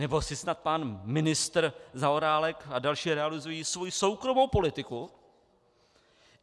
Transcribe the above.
Nebo si snad pan ministr Zaorálek a další realizují svoji soukromou politiku?